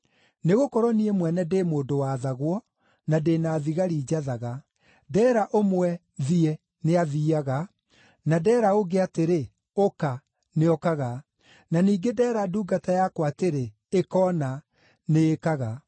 Nĩgũkorwo niĩ mwene ndĩ mũndũ wathagwo, na ndĩ na thigari njathaga. Ndeera ũmwe ‘Thiĩ,’ nĩathiiaga, na ndeera ũngĩ atĩrĩ, ‘Ũka,’ nĩokaga. Na ningĩ ndeera ndungata yakwa atĩrĩ, ‘Ĩka ũna,’ nĩĩkaga.”